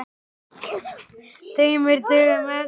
Tveimur dögum eftir flugið.